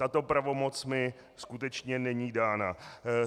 Tato pravomoc mi skutečně není dána.